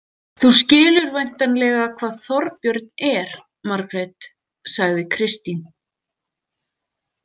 Þú skilur væntanlega hvað Þorbjörn er, Margrét, sagði Kristín.